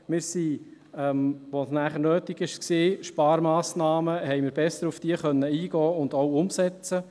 Als danach Sparmassnahmen nötig waren, konnten wir besser auf diese eingehen und konnten sie auch umsetzen.